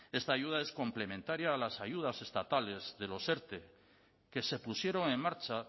esta ayuda es complementaria a las ayudas estatales de los erte que se pusieron en marcha